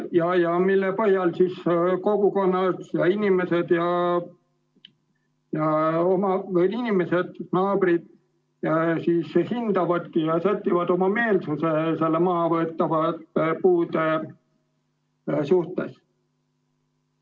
Selle põhjal kogukonnas inimesed, naabrid, seda hindavadki ja sätivad oma meelsuse nende mahavõetavate puude suhtes.